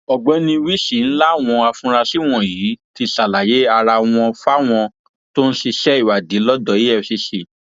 ọgbẹni wilson làwọn afurasí wọnyí ti ṣàlàyé ara wọn fáwọn tó ń ṣiṣẹ ìwádìí lọdọ efcc